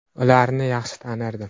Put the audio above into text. Ularni yaxshi tanirdim.